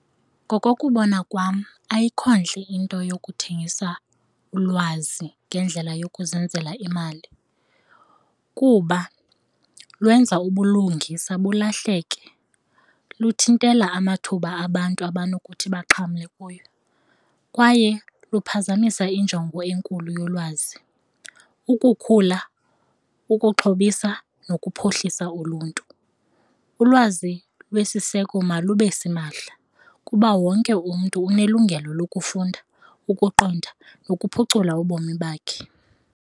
Ngokokubona kwam ayikho ntle into yokuthengisa ulwazi ngendlela yokuzenzela imali kuba lwenza ubulungisa bulahleke, luthintela amathuba abantu abanokuthi baxhamle kuyo kwaye luphazamisa injongo enkulu yolwazi, ukukhula, ukuxhobisa nokuphuhlisa uluntu. Ulwazi lesiseko malube simahla kuba wonke umntu unelungelo lokufunda ukuqonda nokuphucula ubomi bakhe.